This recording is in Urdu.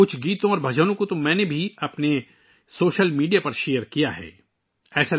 میں نے اپنے سوشل میڈیا پر کچھ گانے اور بھجن بھی شیئر کیے ہیں